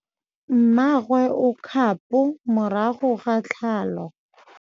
Mmagwe o kgapô morago ga tlhalô.